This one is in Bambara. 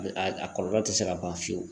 A a kɔlɔlɔ tɛ se ka ban fiyewu